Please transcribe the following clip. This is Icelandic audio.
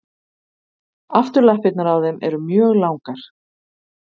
Afturlappirnar á þeim eru mjög langar.